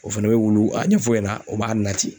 O fɛnɛ bɛ wulu a ɲɛf'o ɲɛna o b'a nati.